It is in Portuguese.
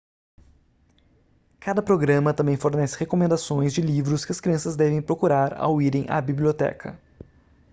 cada programa também fornece recomendações de livros que as crianças devem procurar ao irem à biblioteca